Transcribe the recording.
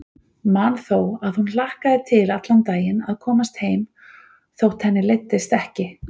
Man þó að hún hlakkaði til allan daginn að komast heim þótt henni leiddist ekki.